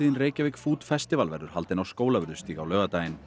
Reykjavík food festival verður haldin á Skólavörðustíg á laugardaginn